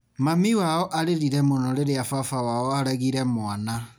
Mami wao arĩrire mũno rĩrĩa baba wao aregire mwana.